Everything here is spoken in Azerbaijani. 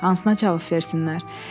Hansına cavab versinlər?